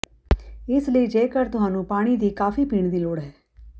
ਇਸ ਲਈ ਜੇਕਰ ਤੁਹਾਨੂੰ ਪਾਣੀ ਦੀ ਕਾਫ਼ੀ ਪੀਣ ਦੀ ਲੋੜ ਹੈ